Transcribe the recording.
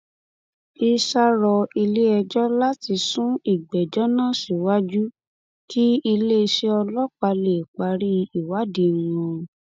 issa rọ iléẹjọ láti sún ìgbẹjọ náà síwájú kí iléeṣẹ ọlọpàá lè parí ìwádìí wọn